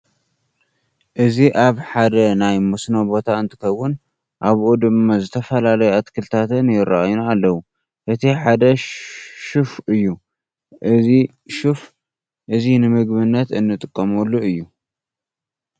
እዚ ኣብ ሓደ ናይ መስኖ ቦታ እንትከውን ኣብኡ ድማ ዝተፈላለዩ ኣትክልትታት ይረአዩና ኣለዉ። እቲ ሓደ ሽፍ እዩ። እዚ ሽፍ እዚ ንምግብነት እንጥቀመሉ እዩ።